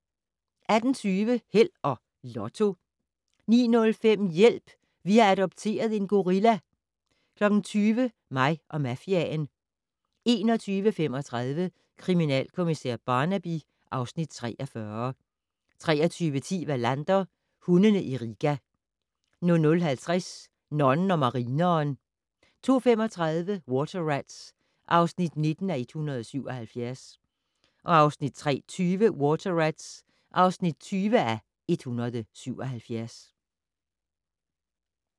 18:20: Held og Lotto 19:05: Hjælp! Vi har adopteret en gorilla 20:00: Mig og mafiaen 21:35: Kriminalkommissær Barnaby (Afs. 43) 23:10: Wallander: Hundene i Riga 00:50: Nonnen og marineren 02:35: Water Rats (19:177) 03:20: Water Rats (20:177)